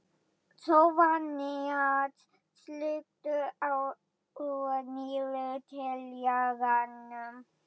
Soffanías, slökktu á niðurteljaranum.